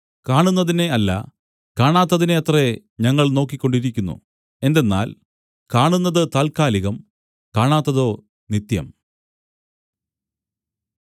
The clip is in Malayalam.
കാണുന്നതിനെ അല്ല കാണാത്തതിനെ അത്രേ ഞങ്ങൾ നോക്കിക്കൊണ്ടിരിക്കുന്നു എന്തെന്നാൽ കാണുന്നത് താൽക്കാലികം കാണാത്തതോ നിത്യം